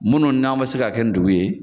Minnu n'an ma se ka kɛ n dugu ye.